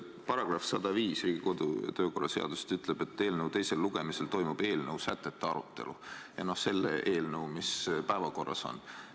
Riigikogu kodu- ja töökorra seaduse § 105 ütleb, et teisel lugemisel toimub eelnõu – selle eelnõu, mis päevakorras on – sätete arutelu.